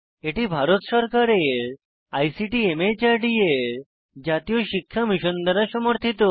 এটি ভারত সরকারের আইসিটি মাহর্দ এর জাতীয় শিক্ষা মিশন দ্বারা সমর্থিত